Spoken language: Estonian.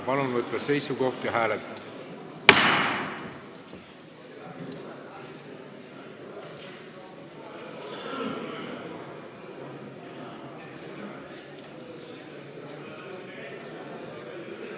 Palun võtta seisukoht ja hääletada!